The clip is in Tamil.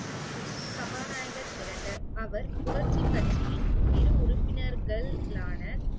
சபாநாயகர் இரண்டு, அவர் புரட்சி கட்சியின் இரு உறுப்பினர்களான